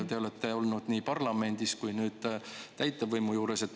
Te olete olnud parlamendis ja nüüd olete täitevvõimu juures.